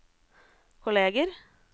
kolleger